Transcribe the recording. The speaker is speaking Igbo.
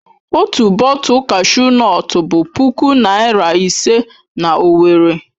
Otu bọtul kashu nọtu bụ puku naira ise na Owerri.